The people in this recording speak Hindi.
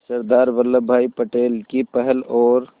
सरदार वल्लभ भाई पटेल की पहल और